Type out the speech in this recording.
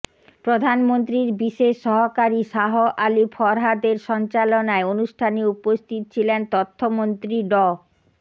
প্রধানমন্ত্রীর বিশেষ সহকারী শাহ আলী ফরহাদের সঞ্চালনায় অনুষ্ঠানে উপস্থিত ছিলেন তথ্যমন্ত্রী ড